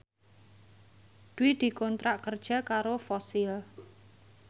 Dwi dikontrak kerja karo Fossil